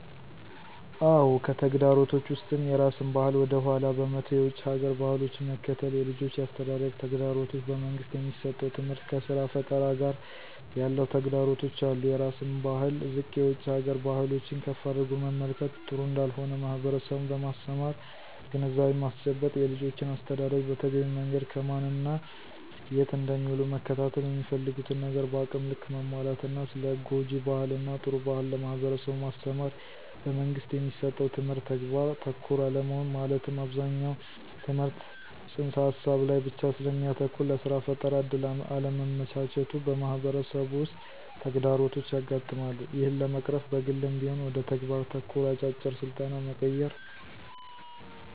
አዎ! ከተግዳሮቶች ውስጥም የራስን ባህል ወደ ኃላ በመተው የውጭ ሀገር ባህሎችን መከተል፣ የልጆች የአስተዳደግ ተግዳሮቶች፣ በመንግስት የሚሠጠው ትምህርት ከስራ ፈጠራ ጋር ያለው ተግዳሮቶች አሉ። -የራስን ባህል ዝቅ የውጭ ሀገር ባህሎችን ከፍ አድርጎ መመልከት ጥሩ እንዳልሆነ ማህበረሠቡን በማስተማር ግንዛቤ ማስጨበጥ። -የልጆችን አስተዳደግ በተገቢው መንገድ ከማን እና የት እንደሚውሉ መከታተል፣ የሚፈልጉትን ነገር በአቅም ልክ ማሟላት እና ስለ ጉጅ ባህል እና ጥሩ ባህል ለማህበረሠቡ ማስተማር። - በመንግስት የሚሠጠው ትምህርት ተግባር ተኮር አለመሆን መለትም አብዛኛው ትምህርት ተፅንስ ሀሳብ ላይ ብቻ ስለሚያተኩር ለስራ ፈጠራ እድል አለማመቻቸቱ በማህበረሠቡ ውስጥ ተግዳሮቶች ያጋጥማሉ። ይህን ለመቅረፍ በግልም ቢሆን ወደ ተግባር ተኮር አጫጭር ስልጠና መቀየር።